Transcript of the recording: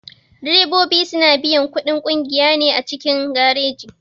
Direbobi suna biyan kuɗin ƙungiya ne a cikin gareji.